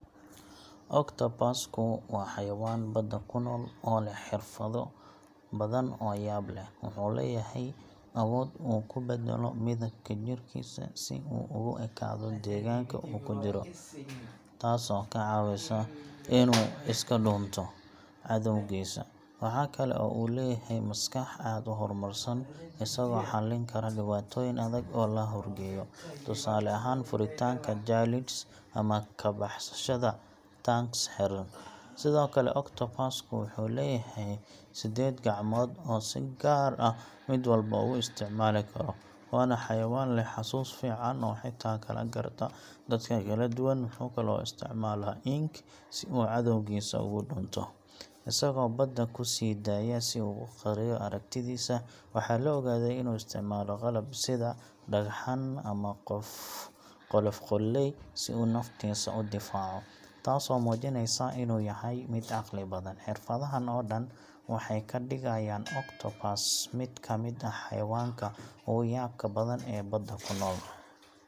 Octopus ku waa xayawaan badda ku nool oo leh xirfado badan oo yaab leh. Wuxuu leeyahay awood uu ku beddelo midabka jirkiisa si uu ugu ekaado deegaanka uu ku jiro, taasoo ka caawisa inuu iska dhuunto cadowgiisa. Waxa kale oo uu leeyahay maskax aad u horumarsan, isagoo xallin kara dhibaatooyin adag oo la horgeeyo, tusaale ahaan furitaanka jar lids ama ka baxsashada tanks xidhan. Sidoo kale, octopus ku wuxuu leeyahay siddeed gacmood oo uu si gaar ah mid walba ugu isticmaali karo, waana xayawaan leh xasuus fiican oo xitaa kala garta dadka kala duwan. Wuxuu kaloo isticmaalaa ink si uu cadowgiisa uga dhuunto, isagoo badda ku sii daaya si uu u qariyo aragtidiisa. Waxaa la ogaaday inuu isticmaalo qalab, sida dhagxaan ama qolof qoolley, si uu naftiisa u difaaco, taasoo muujinaysa inuu yahay mid caqli badan. Xirfadahan oo dhan waxay ka dhigayaan octopus mid ka mid ah xayawaanka ugu yaabka badan ee badda ku nool.